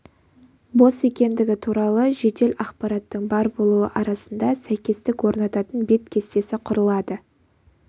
бос екендігі туралы жедел ақпараттың бар болуы арасында сәйкестік орнататын бет кестесі құрылады